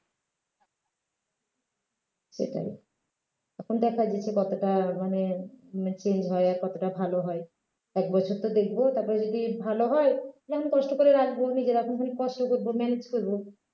সেটাই এখন দেখা দিয়েছে কতটা মানে উম change হয় আর কতটা ভালো হয় এক বছর তো দেখব তারপরে যদি ভালো হয় তাহলে কষ্ট করে রাখব নিজেরা সেরকম কষ্ট করবো manage করব